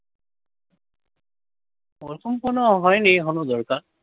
ওরকম কোনো হয় নি এখনও দরকার।